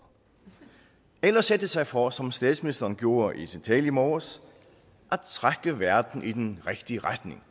eller sætte sig for som statsministeren gjorde i sin tale i morges at trække verden i den rigtige retning